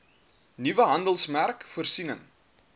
nuwe handelsmerk voorsiening